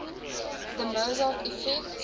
the mozart effect